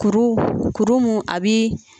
Kuru mun a bɛ